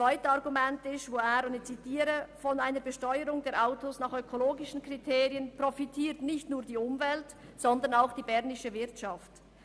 Zweitens sagte er, von einer Besteuerung der Autos nach ökologischen Kriterien profitiere nicht nur die Umwelt, sondern auch die bernische Wirtschaft.